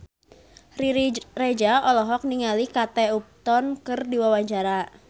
Riri Reza olohok ningali Kate Upton keur diwawancara